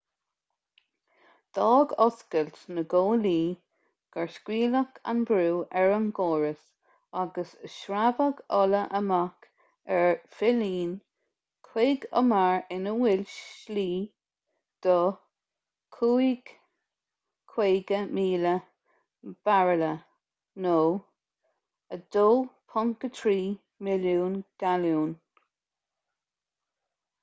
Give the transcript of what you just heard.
d'fhág oscailt na gcomhlaí gur scaoileadh an brú ar an gcóras agus shreabhaigh ola amach ar phillín chuig umar ina bhfuil slí do 55,000 bairille 2.3 milliún galún